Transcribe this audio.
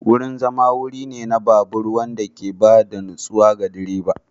Wurin zama wuri ne na babur wanda ke ba da natsuwa ga direba.